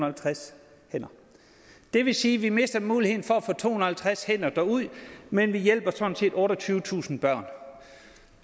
halvtreds hænder det vil sige at vi mister muligheden for at få to hundrede og halvtreds hænder derud men vi hjælper sådan set otteogtyvetusind børn